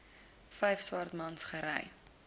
vyf swartmans gery